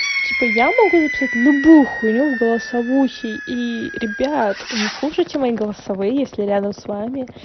типа я могу записать любую хуйню в голосовухи и ребят не слушайте мои голосовые если рядом с вами